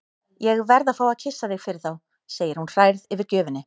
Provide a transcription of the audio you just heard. Ég verð að fá að kyssa þig fyrir þá, segir hún hrærð yfir gjöfinni.